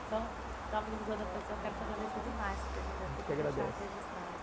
Então, em nome do, eu quero te agradecer demais por ter vindo aqui... gente que agradece. ter deixado registrado...